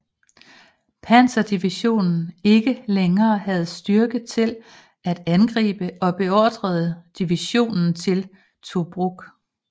Panzerdivision ikke længere havde styrke til at angribe og beordrede divisionen til Tobruk